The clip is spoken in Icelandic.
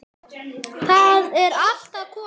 Það er allt að koma.